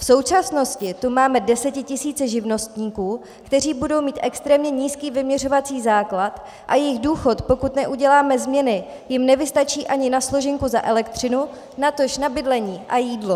V současnosti tu máme desetitisíce živnostníků, kteří budou mít extrémně nízký vyměřovací základ, a jejich důchod, pokud neuděláme změny, jim nevystačí ani na složenku za elektřinu, natož na bydlení a jídlo.